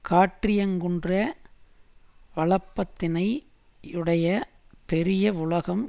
காற்றியங்குகின்ற வளப்பத்தினை யுடைய பெரிய வுலகம்